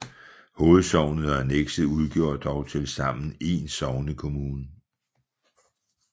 Hovedsognet og annekset udgjorde dog tilsammen én sognekommune